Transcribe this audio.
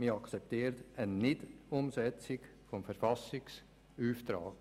Man akzeptiert eine Nichtumsetzung des Verfassungsauftrags.